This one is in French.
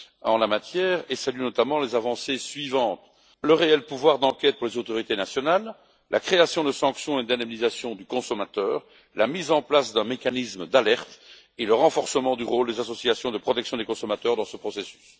en la matière et je salue notamment les avancées suivantes le réel pouvoir d'enquête pour les autorités nationales, la création de sanctions et l'indemnisation du consommateur, la mise en place d'un mécanisme d'alerte et le renforcement du rôle des associations de protection des consommateurs dans ce processus.